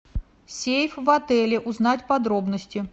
сейф в отеле узнать подробности